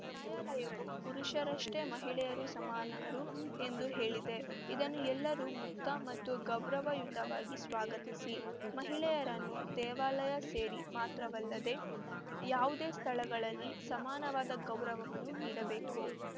ನ್ಯಾಯಾಲಯವು ಪುರುಷರಷ್ಟೇ ಮಹಿಳೆಯರೂ ಸಮಾನರು ಎಂದುಹೇಳಿದೆ ಇದನ್ನು ಎಲ್ಲರೂ ಮುಕ್ತ ಮತ್ತು ಗೌರವಯುತವಾಗಿ ಸ್ವಾಗತಿಸಿ ಮಹಿಳೆಯರನ್ನು ದೇವಾಲಯ ಸೇರಿ ಮಾತ್ರವಲ್ಲದೆ ಯಾವುದೇ ಸ್ಥಳಗಳಲ್ಲಿ ಸಮಾನವಾದ ಗೌರವವನ್ನು ನೀಡಬೇಕು